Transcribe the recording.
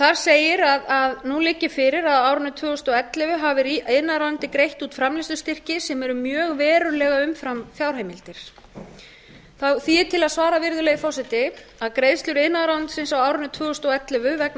þar segir að nú liggi fyrir að á árinu tvö þúsund og ellefu hafi iðnaðarráðuneytið greitt út framleiðslustyrki sem eru mjög verulega umfram fjárheimildir því er til að svara virðulegi forseti að greiðslur iðnaðarráðuneytisins á árinu tvö þúsund og ellefu vegna